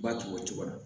Ba to o cogo la